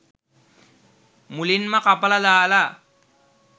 මුලින්ම කපල දාල